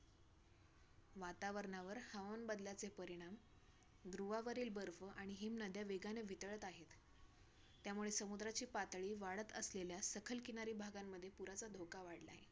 तर ते आम्हाला ओरडायला लागले तुम्ही एवढया सकाळ सकाळी पहाटेचे काय करता रात्रीचा एवढं तुम्हाला कळतंय का नाय?